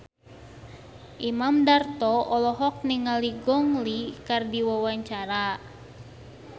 Imam Darto olohok ningali Gong Li keur diwawancara